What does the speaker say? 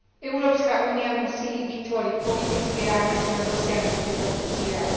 Európska únia musí vytvoriť politický rámec na dosiahnutie tohto cieľa.